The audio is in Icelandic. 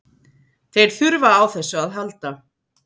Þeir þurfa á þessu að halda.